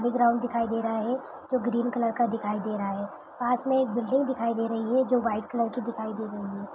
Play ground दिखाई दे रहा है जो ग्रीन कलर का दिखाई दे रहा है पास में एक बिल्डिंग दिखाई दे रही है जो व्हाइट कलर की दिखाई दे रही है।